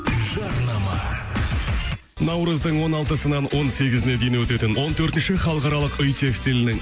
жарнама наурыздың он алтысынан он сегізіне дейін өтетін он төртінші халықаралық үй текстилінің